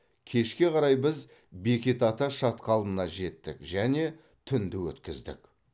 кешке қарай біз бекет ата шатқалына жеттік және түнді өткіздік